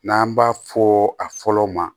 N'an b'a fɔ a fɔlɔ ma